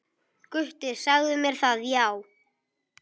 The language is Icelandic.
Gutti sagði mér það, já.